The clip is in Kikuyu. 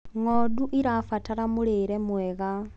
ng'ondu irabatara mũrĩre mwega